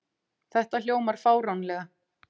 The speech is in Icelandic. Þetta hljómar fáránlega.